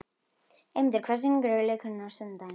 Eymundur, hvaða sýningar eru í leikhúsinu á sunnudaginn?